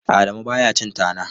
Adamu ba ya cin tana.